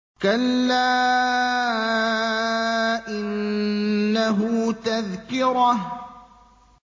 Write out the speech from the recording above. كَلَّا إِنَّهُ تَذْكِرَةٌ